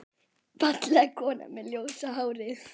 Fallega konan með ljósa hárið.